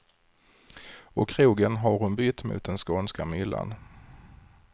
Och krogen har hon bytt mot den skånska myllan.